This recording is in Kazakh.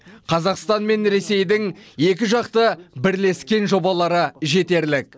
қазақстан мен ресейдің екіжақты бірлескен жобалары жетерлік